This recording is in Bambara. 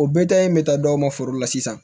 o bɛ ta in bɛ taa dɔw ma foro la sisan